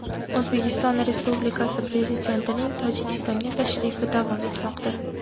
O‘zbekiston Respublikasi Prezidentining Tojikistonga tashrifi davom etmoqda.